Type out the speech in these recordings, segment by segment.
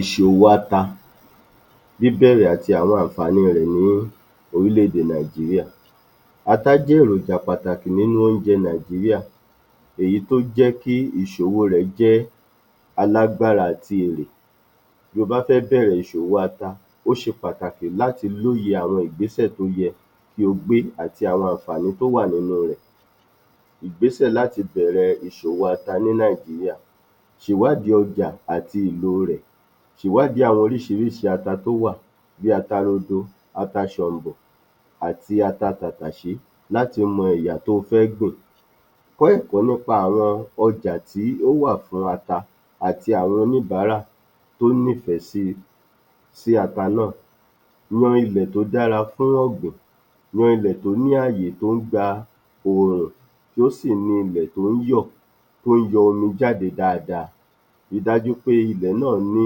Ìṣòwò ata níbẹ̀rẹ̀ àti àwọn ànfààní rẹ̀ ní orílẹ̀-èdè Nàìjíríà Ata jẹ́ èròjà pàtàkì nínú oúnjẹ Nàìjíríà. Èyí tó jẹ́ kí ìṣòwò rẹ̀ jẹ́ álágbára àti èrè. Bí o bá fẹ́ bẹ̀rẹ̀ ìṣòwò ata, ó ṣe pàtàkì láti lóye àwọn ìgbésẹ̀ tó yẹ kí o gbé àti àwọn ànfààní tó wà nínú rẹ̀. Ìgbésẹ̀ láti bẹ̀rẹ̀ ìṣòwò ata ní Nàìjíríà. Sèwádìí ọjà àti ìlò rẹ̀. Sèwádìí àwọn oríṣìíríṣii ata tó wà bí ata rodo, ata ṣọ̀m̀bọ̀ àti ata tàtàṣé láti mọ ẹ̀yà to fẹ́ gbìn. O ó kọ́ nípa àwọn ọjà tí ó wà fún ata àti àwọn oníbàárà tó nífẹ̀ẹ́ [sí…] sí ata náà. Ro ilẹ̀ tó dára fún ọ̀gbìn. Ro ilẹ̀ tó ní ààyè tó ń gba òòrùn kí ó sì ní ilẹ̀ tí ó ń yọ̀, tó ń yọ omi jáde dáadáa. Ri dájú pé ilẹ̀ náà ní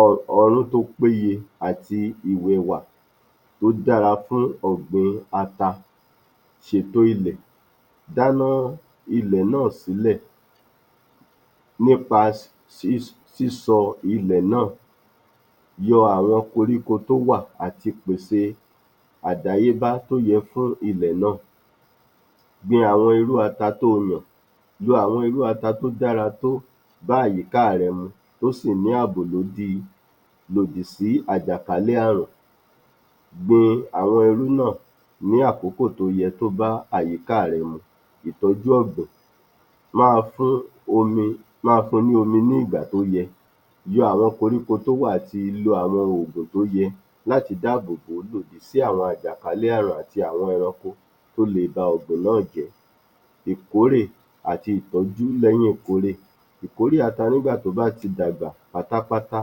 [ọ…] ọrún tó péye àti ìwẹ̀wà tó dára fún ọ̀gbìn ata. Ṣètò ilẹ̀. Dáná ilẹ̀ náà sílẹ̀ nípa [s…] [si…s] sísọ ilẹ̀ náà. Yọ àwọn koríko tó wà àti pèsè àdáyébá tó yẹ fún ilẹ̀ náà. Gbin àwọn irú ata to lọ̀. Yọ àwọn irú ata tó dára tó bá àyíká rẹ mu tó sì ní ààbò [lò dì] lòdì sí àjàkálẹ̀ àrùn. Gbin àwọn irú náà ní àkókò tó yẹ kó bá àyíká rẹ mu. Ìtọ́jú ọ̀gbìn. [Máa fun ...] [omi…] Máa fun ni omi ní ìgbà tó yẹ. Yọ àwọn koríko tó wà, àti lo àwọn oògùn tó yẹ láti dáàbò bò ó lòdì sí àwọn àjàkálẹ̀ àrùn àti àwọn ẹranko tó lè ba ọ̀gbìn náà jẹ́. Ìkórè àti ìtọ́jú lọ́wọ́ ìkórè. Ìkórè ata nígbà tó bá ti dàgbà pátápátá.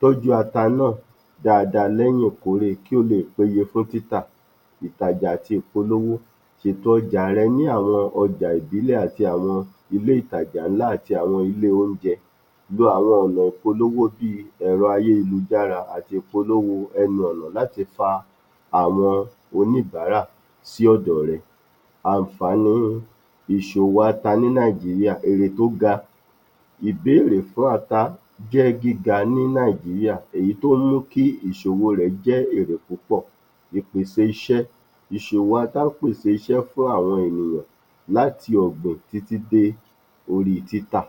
Tọ́jú ata náà dáadáa lẹ́yìn ìkórè kí ó lè péye fún títà. Ìtàjà àti ìpolówó. Ṣètò ọjà rẹ ní àwọn ọjà ìbílẹ̀ àti àwọn ilé ìtajà ńlá àti àwọn ilé oúnjẹ. Lo àwọn ọ̀nà ìpolówó bi ẹ̀rọ ayélujára àti ìpolówó ẹnu-ọ̀nà láti fa àwọn oníbàárà sí ọ̀dọ̀ rẹ. Ànfààní ìṣòwò àta ní Nàìjíríà, èrè tó ga. Ìbéèrè fún ata jẹ́ gíga ní Nàìjíríà èyí tí ó mú kí ìṣòwò rẹ̀ jẹ́ èrè púpọ̀. Ìpèsè iṣẹ́. Ìṣòwò ata pèsè iṣẹ́ fún àwọn ènìyàn láti ọ̀gbìn títí dé orí títà.